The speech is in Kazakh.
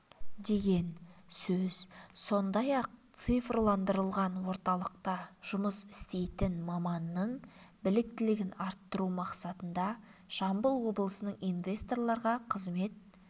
деген сөз сондай-ақ цифрландырылған орталықта жұмыс істейтін маманның біліктілігін арттыру мақсатында жамбыл облысының инсвесторларға қызмет